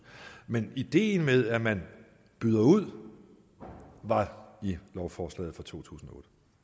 men ideen med at man byder ud var i lovforslaget fra totusinde